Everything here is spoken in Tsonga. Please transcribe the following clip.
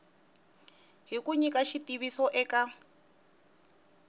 hi ku nyika xitiviso eka